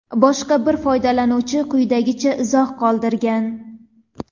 Boshqa bir foydalanuvchi quyidagicha izoh qoldirgan:.